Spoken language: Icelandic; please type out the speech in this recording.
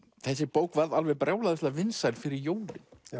þessi bók varð alveg brjálæðislega vinsæl fyrir jólin